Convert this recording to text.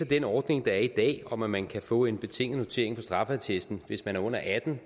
den ordning der er i dag om at man kan få en betinget notering på straffeattesten hvis man er under atten